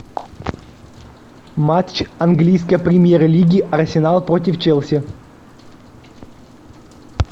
матч английской премьер лиги арсенал против челси